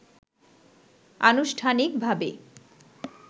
আনুষ্ঠানিকভাবে